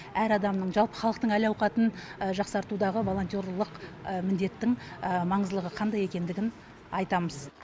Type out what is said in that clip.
әр адамның жалпы халықтың әл ауқатын жақсартудағы волонтерлық міндеттің маңыздылығы қандай екендігін айтамыз